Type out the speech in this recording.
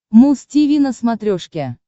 муз тиви на смотрешке